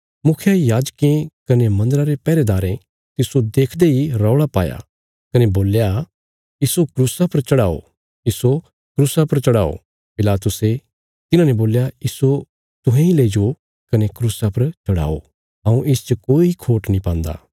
मुखियायाजकें कने मंदरा रे पैहरेदारें तिस्सो देखदे इ रौल़ा पाया कने बोल्या इस्सो क्रूसा पर चढ़ाओ इस्सो क्रूसा पर चढ़ाओ पिलातुसे तिन्हांने बोल्या इस्सो तुहें इ लईजो कने क्रूसा पर चढ़ाओ हऊँ इसच कोई खोट नीं पान्दा